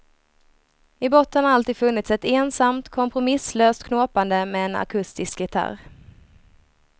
I botten har alltid funnits ett ensamt, kompromisslöst knåpande med en akustisk gitarr.